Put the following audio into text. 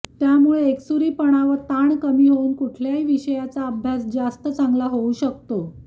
त्यामुळे एकसुरीपणा व ताण कमी होऊन कुठल्याही विषयाचा अभ्यास जास्त चांगला होऊ शकतो